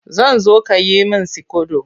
Zan zo ka yi min sikodo